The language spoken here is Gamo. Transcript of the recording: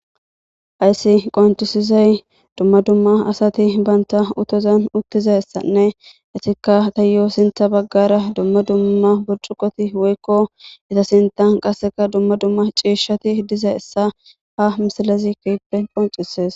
Ayssi qoncisizay dumma dumma asati banta uttozan uttizassanne etikka tayoo sintha baggara dumma dumma buricuqoti woykko eta sinthan qasseka dumma dumma ciishshati diza essa ha misalezi keehippe qoncises.